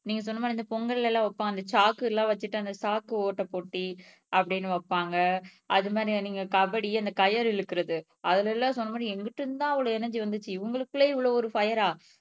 நீங்க சொன்ன மாதிரி இந்த பொங்கல்ல எல்லாம் உட்கார்ந்து சாக்கு எல்லாம் வச்சுட்டு அந்த சாக்கு ஓட்டை போட்டி அப்படீன்னு வைப்பாங்க அது மாதிரியான நீங்க கபடி அந்த கயறு இழுக்கிறது அதுல எல்லாம் சொன்ன மாதிரி எங்கிட்டு இருந்து தான் அவ்ளோ எனர்ஜி வந்துச்சு இவங்களுக்குள்ளயே இவ்வளவு ஒரு பிரே ஆஹ்